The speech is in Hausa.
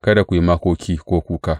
Kada ku yi makoki ko kuka.